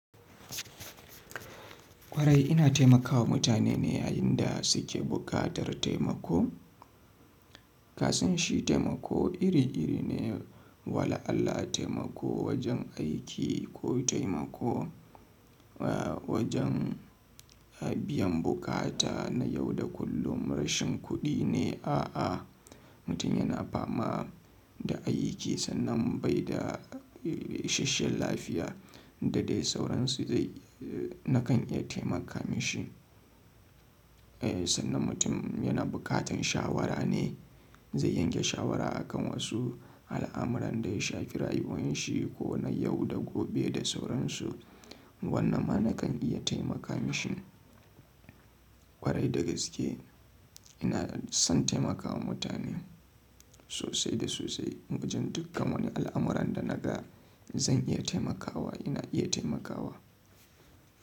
Kwarai ina taimakawa mutane ne yayin da suke buƙatar taimako. Kasan shi taimako iri-iri ne, wala Allah taimako wajen aiki ko taimako, eh wajen, eh biyan bukata na yau da kullum, rashin kuɗi ne, a'a mutum yana fama da ayukinsa nan bai da, isheshiyar lafiya da dai sauransu zai, eh nakan iya taimaka mashi. Eh sannan mutum yana bukatan shawara ne, zai yanke shawara a kan wasu al'amuran da ya shafi rayuwan shi ko na yau da gobe da sauransu. Wannan ma na kan iya taimaka mashi. Kwarai da gaske ina son taimakawa mutane sosai da sosai. Wajen dukan wani al'amuran da naga zan iya taimakawa, ina iya taimakawa.